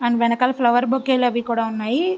And వెన్నకల flower bouquet అవి కూడా ఉన్నాయి.